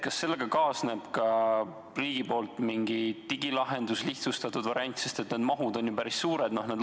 Kas sellega kaasneb ka riigilt mingi digilahendus, lihtsustatud variant, sest need mahud on ju päris suured?